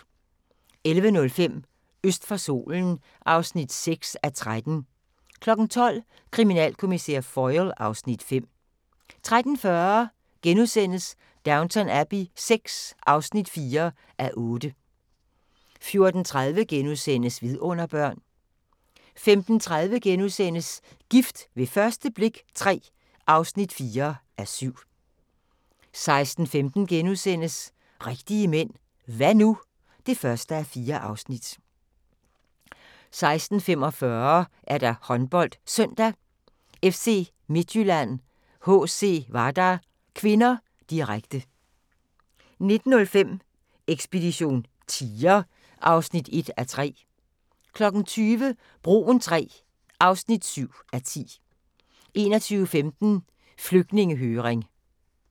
11:05: Øst for solen (6:13) 12:00: Kriminalkommissær Foyle (Afs. 5) 13:40: Downton Abbey VI (4:8)* 14:30: Vidunderbørn * 15:30: Gift ved første blik III (4:7)* 16:15: Rigtige Mænd – Hva' nu? (1:4)* 16:45: HåndboldSøndag: FC Midtjylland-HC Vardar (k), direkte 19:05: Ekspedition tiger (1:3) 20:00: Broen III (7:10) 21:15: Flygtningehøring